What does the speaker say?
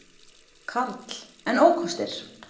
Karl: En ókostir?